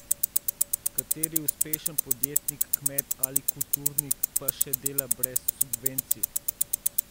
Kateri uspešen podjetnik, kmet ali kulturnik pa še dela brez subvencij?